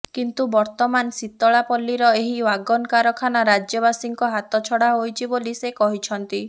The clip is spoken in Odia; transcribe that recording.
କିନ୍ତୁ ବର୍ତ୍ତମାନ ଶୀତଳାପଲ୍ଲୀର ଏହି ଓ୍ବାଗନ କାରଖାନା ରାଜ୍ୟବାସୀଙ୍କ ହାତଛଡ଼ା ହୋଇଛି ବୋଲି ସେ କହିଛନ୍ତି